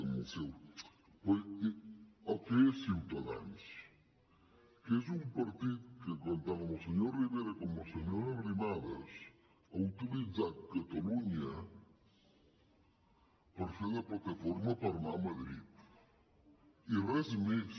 però el que és ciutadans que és un partit que tant amb el senyor rivera com amb la senyora arrimadas ha utilitzat catalunya per fer de plataforma per anar a madrid i res més